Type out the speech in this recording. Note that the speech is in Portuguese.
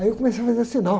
Aí eu comecei a fazer sinal.